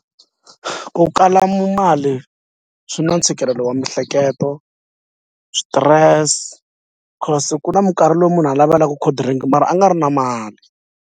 Ku kala mu mali swi na ntshikelelo wa miehleketo swi-stress cause ku na mikarhi lowu munhu a navelaka cold drink mara a nga ri na mali.